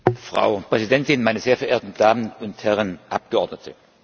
Frau Präsidentin, meine sehr verehrten Damen und Herren Abgeordneten!